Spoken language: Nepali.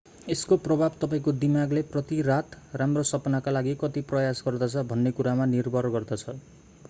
यसको प्रभाव तपाईंको दिमागले प्रति रात राम्रो सपनाका लागि कति प्रयास गर्दछ भन्ने कुरामा निर्भर गर्दछ